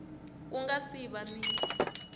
ku nga si va ni